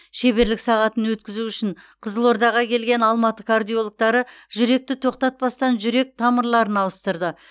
шеберлік сағатын өткізу үшін қызылордаға келген алматы кардиологтары жүректі тоқтатпастан жүрек тамырларын ауыстырды